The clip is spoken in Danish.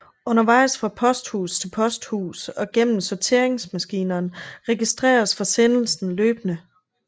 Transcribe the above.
Undervejs fra posthus til posthus og gennem sorteringsmaskinerne registreres forsendelsen løbende